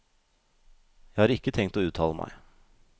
Jeg har ikke tenkt å uttale meg.